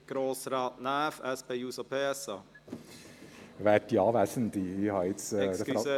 Grossrat Näf, SP-JUSO-PSA. Entschuldigung